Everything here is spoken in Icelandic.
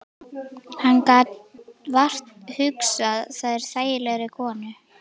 Hann gat vart hugsað sér þægilegri konu.